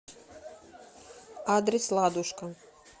адрес ладушка